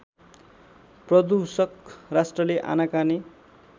प्रदूषक राष्ट्रले आनाकानी